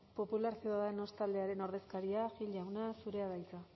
popular ciudadanos taldearen ordezkaria gil jauna zurea da hitza